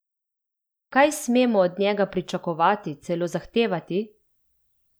Kaj smemo od njega pričakovati, celo zahtevati?